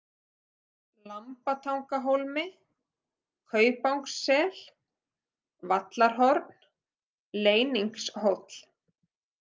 Lambatangahólmi, Kaupangssel, Vallarhorn, Leyningshóll